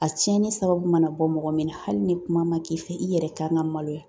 A cɛnni sababu mana bɔ mɔgɔ min na hali ni kuma ma k'i fɛ i yɛrɛ kan ka maloya